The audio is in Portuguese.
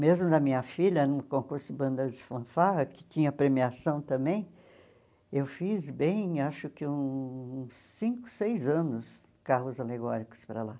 Mesmo da minha filha, no concurso Bandas e Fanfarra, que tinha premiação também, eu fiz bem, acho que uns cinco, seis anos, carros alegóricos para lá.